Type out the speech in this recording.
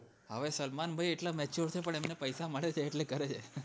હવે સલમાન ભાઈ એટલા mature છે પણ એમને પેસા મળે છે એટલે કરે છે